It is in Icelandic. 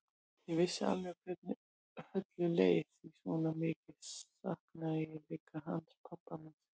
Ég vissi alveg hvernig Höllu leið því svona mikið saknaði ég líka hans pabba míns.